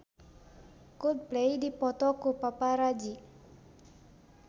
Coldplay dipoto ku paparazi